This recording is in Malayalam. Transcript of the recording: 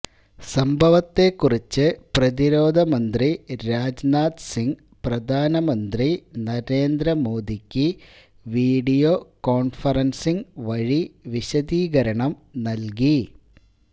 സംഭവത്തെക്കുറിച്ച് പ്രതിരോധമന്ത്രി രാജ്നാഥ് സിംഗ് പ്രധാനമന്ത്രി നരേന്ദ്ര മോദിക്ക് വീഡിയോ കോണ്ഫറന്സിംഗ് വഴി വിശദീകരണം നല്കി